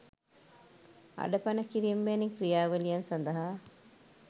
අඩපණ කිරිම වැනි ක්‍රියාවලියන් සදහා.